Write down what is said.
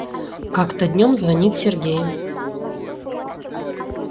как-то днём звонит сергей